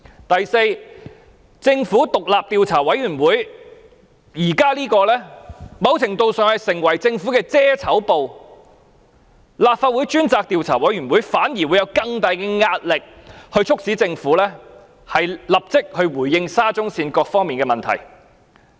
第四，政府現在的獨立調查委員會某程度上只是政府的"遮醜布"，由立法會專責委員會進行調查反而會施加更大壓力，促使政府立即回應沙中線各方面的問題。